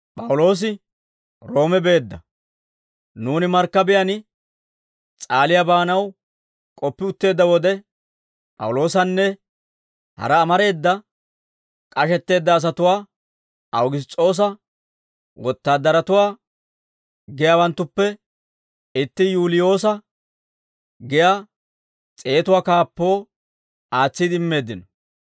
Nuuni markkabiyaan S'aaliyaa baanaw k'oppi utteedda wode, P'awuloosanne hara amareeda k'ashetteedda asatuwaa Awugiss's'oosa wotaadaratuwaa giyaawanttuppe itti Yuuliyoosa giyaa s'eetatuwaa kaappoo aatsiide immeeddino.